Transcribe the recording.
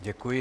Děkuji.